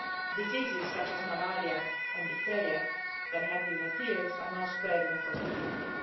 Diseases such as malaria and diphtheria that had disappeared are now spreading across the country.